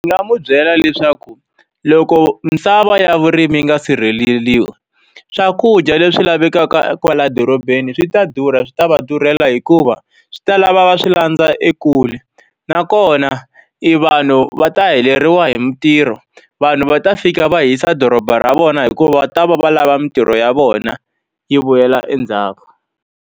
Ndzi nga n'wi byela leswaku loko misava ya vurimi yi nga sirheleriwi, swakudya leswi lavekaka kwalaya dorobeni swi ta durha. Swi ta va durhela hikuva swi ta lava va swi landza ekule, nakona e vanhu va ta heleriwa hi mintirho. Vanhu va ta fika va hisa doroba ra vona hikuva va ta va va lava mintirho ya vona yi vuyela endzhaku.